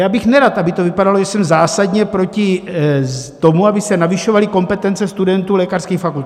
Já bych nerad, aby to vypadalo, že jsem zásadně proti tomu, aby se navyšovaly kompetence studentů lékařských fakult.